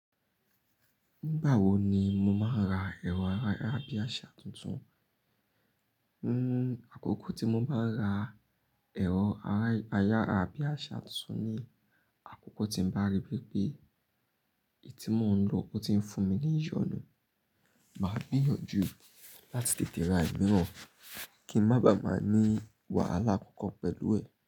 Nígbà wo ni mo máa ra ẹ̀rọ ayárabíàsá tuntun? Àkókò tí mo máa ra ẹ̀rọ ayárabíàsá tuntun ni àkókò tí ń bá rí wipé èyí tí mò ń lò ò ti ń fún mi ní ìyọnu. Máa gbìyànjú láti tètè ra ìmíràn kí ń má ba à máa ní wàhálà kankan pẹ̀lú ẹ.